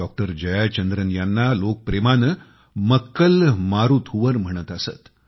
doctor Jayachandran यांना लोक प्रेमाने मक्कल मारुथुवर म्हणत असत